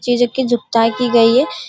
चीजों की जुगताई की गईं है |.